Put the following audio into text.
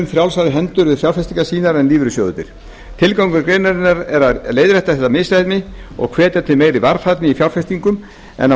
frjálsari hendur við fjárfestingar sínar en lífeyrissjóðirnir tilgangur greinarinnar er að leiðrétta þetta misræmi og hvetja til meiri varfærni í fjárfestingum á